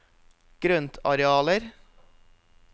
grøntarealer